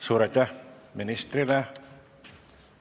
Suur aitäh ministrile!